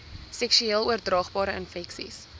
seksueel oordraagbare infeksies